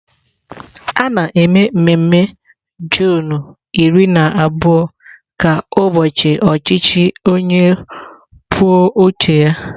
A na-eme mmemme Juunu iri na abụọ ka ụbọchị ọchịchị onye kwuo uche ya..